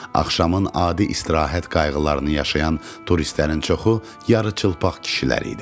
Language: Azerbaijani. Axşamın adi istirahət qayğılarını yaşayan turistlərin çoxu yarıçılpaq kişilər idi.